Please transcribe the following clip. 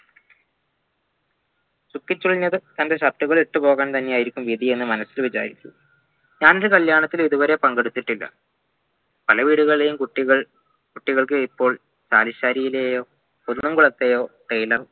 ചുക്കിച്ചുളിഞ്ഞത് തൻ്റെ shirt ഉകളിട്ടു പോവാൻ തന്നെയായിരിക്കും വിധിയെന്ന് മനസ്സിൽ വിചാരിച്ചു താൻ ഒരു കല്യാണത്തിനും ഇതുവരെ പങ്കെടുത്തിട്ടില്ല പലവീടുകളിലെയും കുട്ടികൾക്ക് ഇപ്പോൾ താലിശേരിയിലെയോ കുന്നുംകുളത്തെയോ tailor